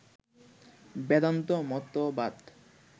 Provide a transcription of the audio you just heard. বেদান্ত মতবাদ